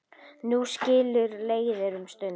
Nú skilur leiðir um stund.